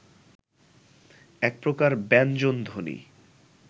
এক প্রকার ব্যঞ্জনধ্বনি